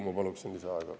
Ma palun lisaaega.